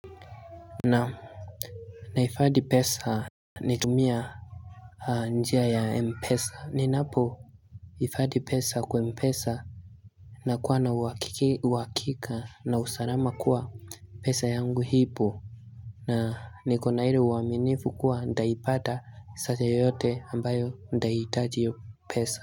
Naam, nahifadhi pesa nikitumia njia ya m-pesa. Ninapo hifadhi pesa kwa m-pesa nakuwa na uhakika na usalama kuwa pesa yangu ipo na nikona ile uaminifu kuwa nitaipata saa yoyote ambayo nitahitaji hiyo pesa.